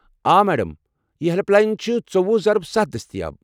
آ، میڈم، یہ helpline چھِ ژووُہ ضرب ستھ دٔستِیاب۔